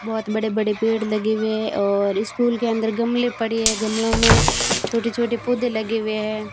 बहोत बड़े बड़े पेड़ लगे हुए है और इस स्कूल के अंदर गमले पड़ी है गमलो में छोटे छोटे पौधे लगे हुए हैं।